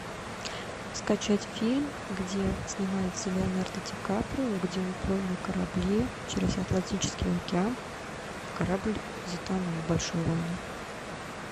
скачать фильм где снимается леонардо ди каприо где он плыл на корабле через атлантический океан и корабль затонул большой лайнер